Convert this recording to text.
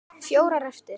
Fjórar eftir.